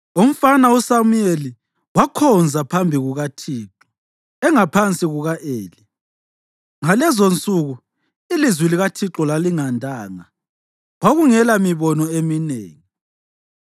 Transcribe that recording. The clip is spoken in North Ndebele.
Umfana uSamuyeli wakhonza phambi kukaThixo engaphansi kuka-Eli. Ngalezonsuku ilizwi likaThixo lalingandanga; kwakungelamibono eminengi.